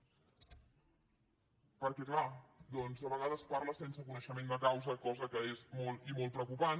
perquè clar doncs a vegades parla sense coneixement de causa cosa que és molt i molt preocupant